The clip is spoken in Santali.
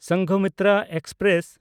ᱥᱚᱝᱜᱷᱚᱢᱤᱛᱨᱟ ᱮᱠᱥᱯᱨᱮᱥ